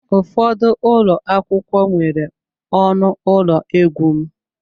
Ụfọdụ ụlọ akwụkwọ nwere ọnụ ụlọ egwu m.